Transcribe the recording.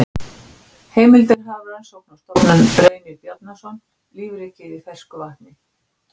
Heimildir Hafrannsóknarstofnun Reynir Bjarnason, Lífríkið í fersku vatni.